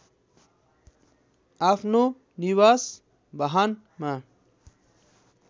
आफ्नो निवास बाहनमा